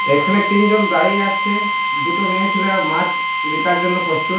এখানে তিনজন দাঁড়িয়ে আছে। দুটো মেয়ে ছেলে মাছ বিকার জন্য প্রস্তুত।